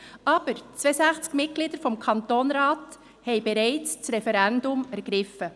Aber 62 Mitglieder des Kantonsrats haben bereits das Referendum ergriffen.